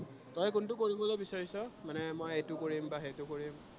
তই কোনটো কৰিবলে বিচাৰিছ? মানে মই এইটো কৰিম বা সেইটো কৰিম।